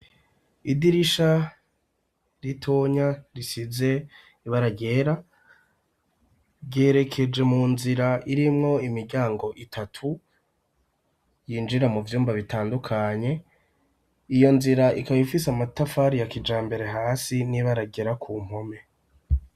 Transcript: Idirisha ritonya risize ibaragera ryerekeje mu nzira irimwo imiryango itatu yinjira mu vyumba bitandukanye iyo nzira ikabifise amatafari yakija mbere hasi n'ibaragera ku mpome.